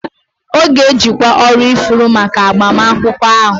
Ọ ga-ejikwa ọrụ ifuru maka agbamakwụkwọ ahụ